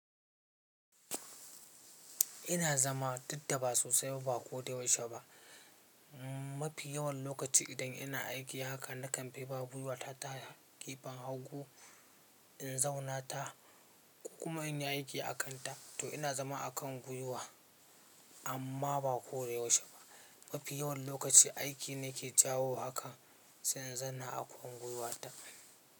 Ina zama duk daba sosai ba ko da yaushe ba. Mafi yawan lokaci idan ina aiki haka na kamfi ba gwuiwa ta gefen hagu, in zauna ta ko kuma in yi aiki a kan ta. To ina zama a kan gwuiwa amma ba ko da yaushe ba. Mafi yawan lokaci aiki nake jawo a kan sai inzanna a kan gwiwa ta.